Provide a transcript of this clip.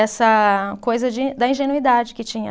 Essa coisa de da ingenuidade que tinha.